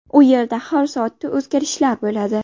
U yerda har soatda o‘zgarishlar bo‘ladi.